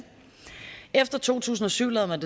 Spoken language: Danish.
efter to tusind og syv lavede